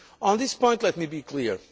On this point let me be